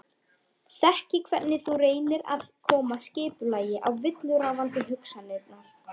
Þekki hvernig þú reynir að koma skipulagi á villuráfandi hugsanirnar.